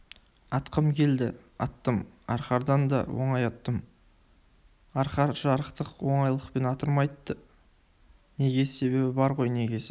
атқым келді аттым арқардан да оңай аттым арқар жарықтық оңайлықпен аттырмайды неге себебі бар ғой негесі